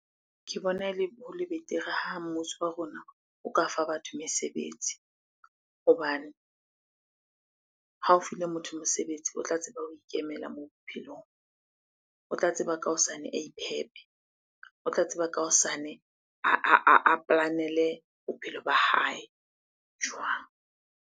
Ke bona ele, ho le betere ha mmuso wa rona o ka fa batho mesebetsi. Hobane ha o file motho mosebetsi, o tla tseba ho ikemela mo bophelong, o tla tseba ka hosane a iphephe, o tla tseba ka hosane a plan-ele bophelo ba hae jwang?